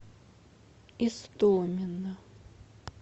истомина